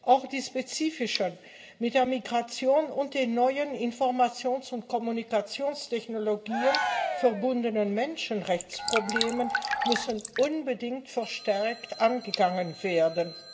Auch die spezifischen, mit der Migration und den neuen Informations und Kommunikationstechnologien verbundenen Menschenrechtsprobleme müssen unbedingt verstärkt angegangen werden.